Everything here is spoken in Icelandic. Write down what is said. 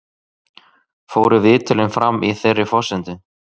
Fóru viðtölin fram á þeirri forsendu